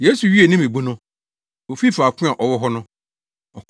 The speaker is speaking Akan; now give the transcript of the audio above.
Yesu wiee ne mmebu no, ofii faako a ɔwɔ hɔ no.